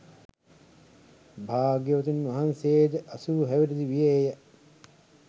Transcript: භාග්‍යවතුන් වහන්සේ ද අසූ හැවිරිදි වියේ ය.